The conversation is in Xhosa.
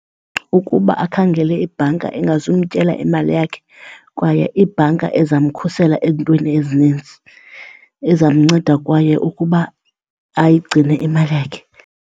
Ukuba akhangele ibhanka engazumtyela imali yakhe kwaye ibhanka ezamkhusela ezintweni ezininzi, ezamnceda kwaye ukuba ayigcine imali yakhe.